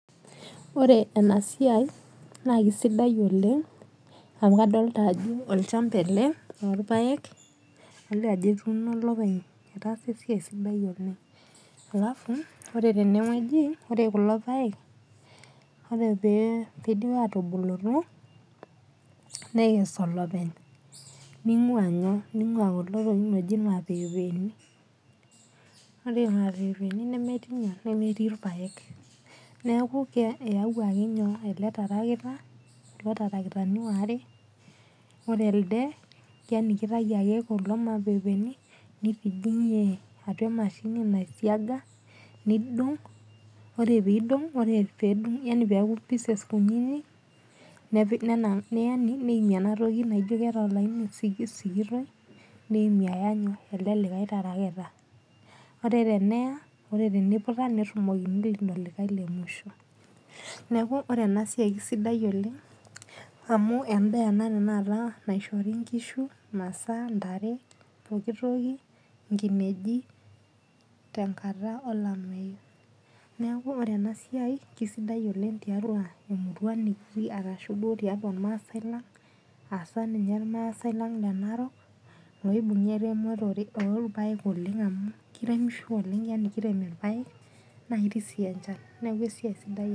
Ore enasiai, naa kisidai oleng, amu kadolta ajo olchamba ele lorpaek, adolta ajo etuuno olopeny etaasa esiai sidai oleng. Alafu ore tenewueji, ore kulo paek, ore pe pidip atubulutu, nekes olopeny. Ning'ua nyoo, ning'ua kulo tokiting oji imapeepeni. Ore imapeepeni nemetii nyoo nemetii irpaek. Neeku eyauaki nyoo ele tarakita, kulo tarakitani waare, ore elde, yani kitayu ake kuldo mapeepeni, nitijing'ie atua emashini nai siaga, nidong', ore pidong' yani ore peku pieces kunyinyik, yani neimie enatoki naijo keeta olaini sikitoi, neimie aya nyoo elde likae tarakita. Ore teneya, ore teniputa, nerrumokini ilo likae lemusho. Neeku ore enasiai kisidai oleng, amu endaa ena tanakata naishori nkishu masaa, ntare, pooki toki, nkineji, tenkata olameyu. Neeku ore enasiai kisidai oleng tiatua emurua nikitii arashu duo tiatua irmaasai lang, asa ninye irmaasai lang le Narok, oibung'a eremotore orpaek amu kiremisho oleng amu kirem irpaek, naketii si enchan. Neeku esiai sidai.